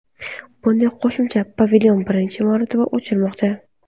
Bunday qo‘shimcha pavilyon birinchi marotaba ochilmoqda.